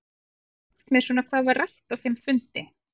Geturðu aðeins sagt mér svona hvað var rætt á þeim fundi?